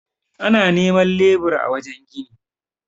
ana neman lebura a wajen gini